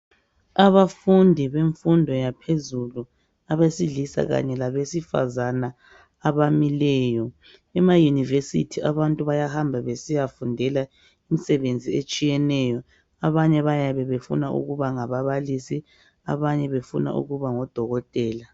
Abafundi bemfundo yaphezulu abesilisa kanye labesifazana abamileyo ema university abantu bayahamba besiya fundela imisebenzi etshiyeneyo abanye bayabe befuna ukuba ngababalisi abanye befuna ukuba ngodokotela.